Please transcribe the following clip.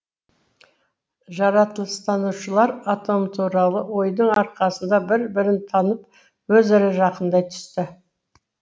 жаратылыстанушылар атом туралы ойдың арқасында бір бірін танып өзара жақындай түсті